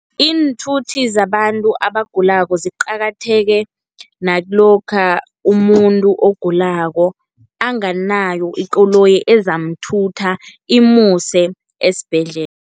Iinthuthi zabantu abagulako ziqakatheke, nakilokha umuntu ogulako, anganayo ikoloyi ezamthutha imuse esibhedlela.